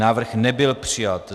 Návrh nebyl přijat.